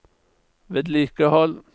vedlikehold